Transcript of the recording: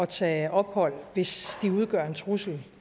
tage ophold hvis de udgør en trussel